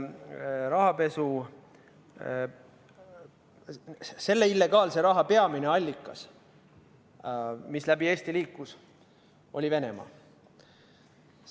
Rahapesu, selle illegaalse raha peamine allikas, mis läbi Eesti liikus, oli Venemaa.